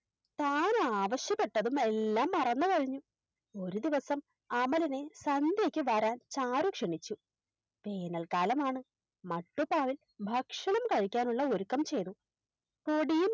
താനാവശ്യപ്പെട്ടതും എല്ലാം മറന്നു കഴിഞ്ഞു ഒരു ദിവസം അമലിനെ സന്ധ്യക്ക് വരാൻ ചാരു ക്ഷണിച്ചു വേനൽക്കാലമാണ് മട്ടുപ്പാവിൽ ഭക്ഷണം കഴിക്കാനുള്ള ഒരുക്കം ചെയ്തു